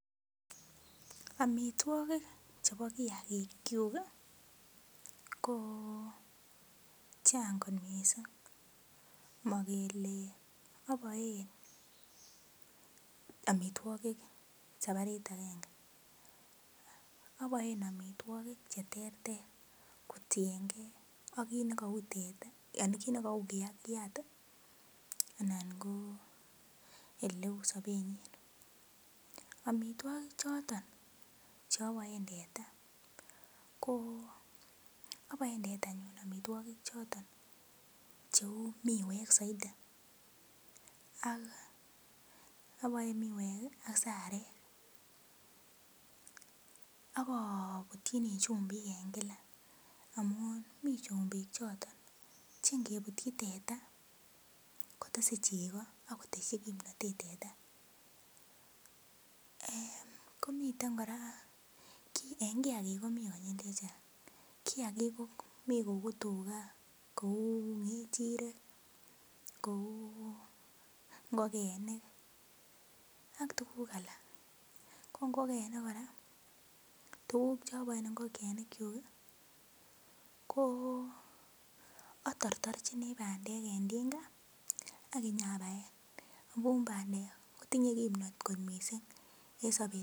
Omitwogik chebo kiagikchuk ii ko chang'kot missing, mogele oboen omitwogik sabarit agenge, oboen omitwogik cheterter kotiengen ak kiit negou teta anan kiit negou kiakyat ii ,anan ko oleu sobenyin, omitwogik choton cheoboen teta ko oboen tetanyun omitwogik choton cheu miwek soiti, oboen miwek ii ak sarek, akobutchini chumbik en gila amun mi chumbik choton cheingebutyi teta kotese chego ak kotesyi kimnotet teta, komiten kora en kiagik komi konyil chechang',mi kou tiga, kou ng'echirek, kou ng'orenik ak tuguk alak, ko ng'ogenik kora, tuguk choboen ng'ogenikchuk ii atortorchini bandek en tinga ak inyabaen amun bandek kotinye kimnot kot missing en sobet.